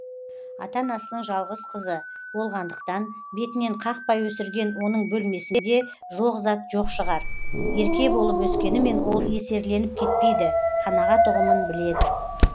ата анасының жалғыз қызы болғандықтан бетінен қақпай өсірген оның бөлмесінде жоқ зат жоқ шығар ерке болып өскенімен ол есерленіп кетпейді қанағат ұғымын біледі